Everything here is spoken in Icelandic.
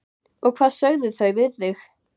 Og hvað sögðu þau við þig?